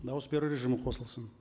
дауыс беру режимі қосылсын